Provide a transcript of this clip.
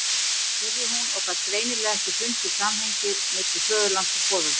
spurði hún og gat greinilega ekki fundið samhengið milli föðurlands og foreldra.